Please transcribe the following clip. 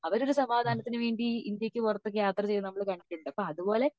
അവർ ഒരു സമാധാനത്തിന് വേണ്ടി ഇന്ത്യക്ക് പുറത്തു ഒക്കെ യാത്ര ചെയ്യുന്നത് നമ്മൾ കണ്ടിട്ട് ഉണ്ട് അപ്പോ അതുപോലെ